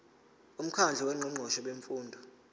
umkhandlu wongqongqoshe bemfundo